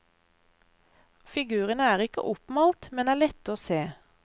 Figurene er ikke oppmalt, men er lette å se.